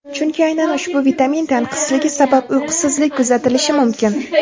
Chunki aynan ushbu vitamin tanqisligi sabab uyqusizlik kuzatilishi mumkin.